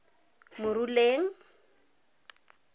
moruleng